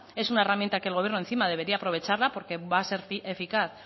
es una herramienta que el gobierno encima debería aprovecharla porque va a ser eficaz